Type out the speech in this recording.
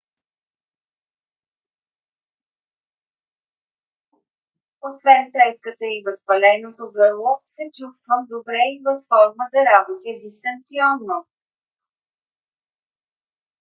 освен треската и възпаленото гърло се чувствам добре и във форма да работя дистанционно